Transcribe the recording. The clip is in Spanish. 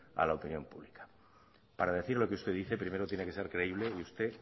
a la opinión pública para decir lo que usted dice primero tiene que ser creíble y usted